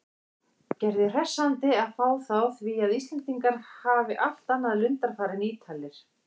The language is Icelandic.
Gerði hressandi að fá þá því að Íslendingar hafi allt annað lundarfar en Ítalir.